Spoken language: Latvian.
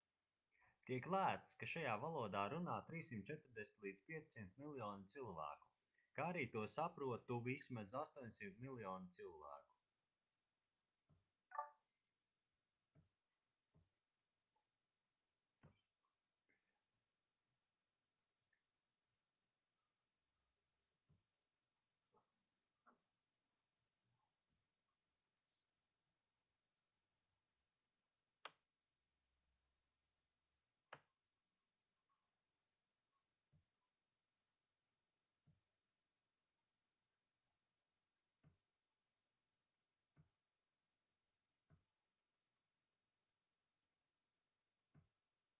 tiek lēsts ka šajā valodā runā 340-500 miljoni cilvēku kā arī to saprotu vismaz 800 miljoni cilvēku